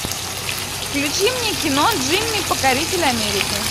включи мне кино джимми покоритель америки